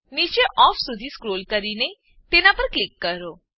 નીચે ઓફ સુધી સ્ક્રોલ કરીને તેના પર ક્લિક કરો